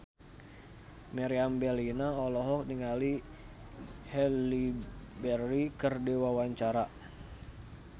Meriam Bellina olohok ningali Halle Berry keur diwawancara